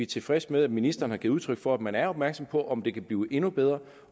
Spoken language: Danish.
tilfredse med at ministeren har givet udtryk for at man er opmærksom på om det kan blive endnu bedre